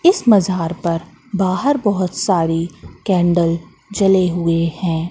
इस मजार पर बाहर बहुत सारी कैंडल जले हुए हैं।